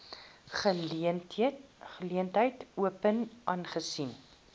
geleentheid open aangesien